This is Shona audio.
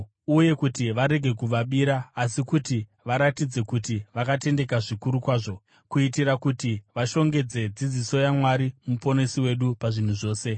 uye kuti varege kuvabira, asi kuti varatidze kuti vakatendeka zvikuru kwazvo, kuitira kuti vashongedze dzidziso yaMwari Muponesi wedu pazvinhu zvose.